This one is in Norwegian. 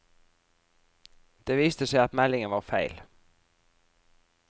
Det viste seg at meldingen var feil.